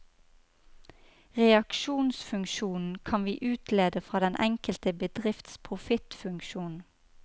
Reaksjonsfunksjonen kan vi utlede fra den enkelte bedrifts profittfunksjon.